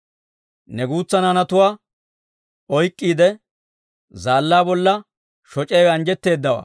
Ne guutsa naanatuwaa oyk'k'iide, zaallaa bolla shoc'iyaawe anjjetteedawaa.